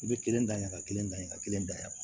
I bɛ kelen da ɲaga kelen da ka kelen da yan